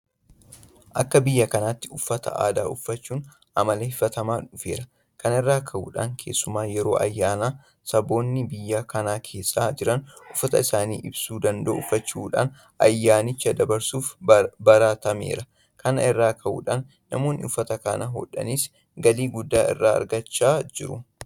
Akka biyya kanaatti uffata aadaa uffachuun amaleeffatamaa dhufeera. Kana irraa ka'uudhaan keessumaa yeroo ayyaanaa saboonni biyya kana keessa jiran uffata isaan ibsuu danda'u uffachuudhaan ayyaanicha dabarsuun baratameera. Kana irraa ka'uudhaan namoonni uffata kana hodhanis galii guddaa irraa argachaa jiru.